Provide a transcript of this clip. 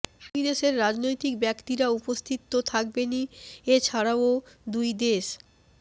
দুই দেশের রাজনৈতিক ব্যক্তিরা উপস্থিত তো থাকবেনই এছাড়াও দুই দেশ